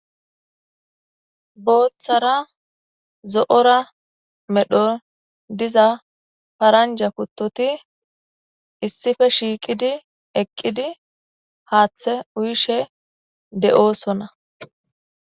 Booththara zo7ora medho diza faranja kuttoti issife shiiqidi eqqidi haaththe uyishe de7oosonna.